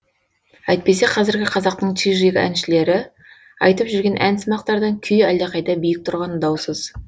әйтпесе қазіргі қазақтың чижик әншілері айтып жүрген ән сымақтардан күй әлдеқайда биік тұрғаны даусыз